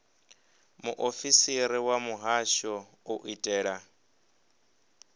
muofisiri wa muhasho u itela